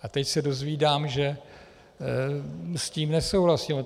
A teď se dozvídám, že s tím nesouhlasí.